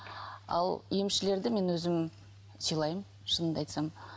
ал емшілерді мен өзім сыйлаймын шынымды айтсам